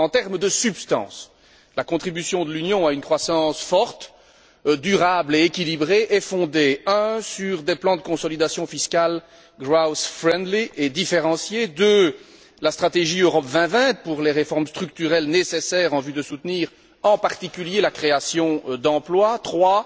En termes de substance, la contribution de l'Union a une croissance forte, durable et équilibrée qui est fondée sur 1 des plans de consolidation fiscale growth friendly et différenciés, 2 la stratégie Europe 2020 pour les réformes structurelles nécessaires en vue de soutenir, en particulier, la création d'emplois, 3